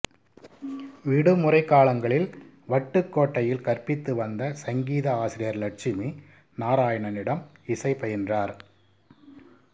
விடுமுறைக் காலங்களில் வட்டுக்காேட்டையில் கற்பித்து வந்த சங்கீத ஆசிரியர் லட்சுமி நாராயணனிடம் இசை பயின்றார்